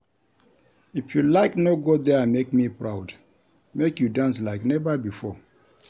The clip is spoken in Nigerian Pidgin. If you like no go there make me proud, make you dance like never before